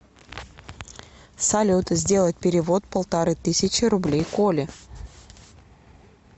салют сделать перевод полторы тысячи рублей коле